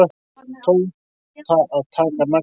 Tóta að taka naglana.